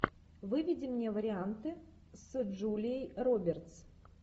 выведи мне варианты с джулией робертс